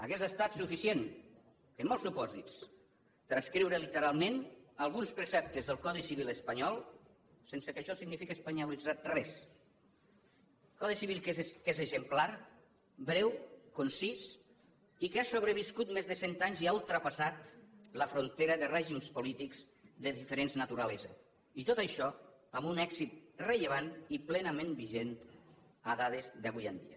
hauria estat suficient en molts supòsits transcriure literalment alguns preceptes del codi civil espanyol sense que això signifique espanyolitzar res codi civil que és exemplar breu concís i que ha sobreviscut més de cent anys i ha ultrapassat la frontera de règims polítics de diferent naturalesa i tot això amb un èxit rellevant i plenament vigent en dates d’avui en dia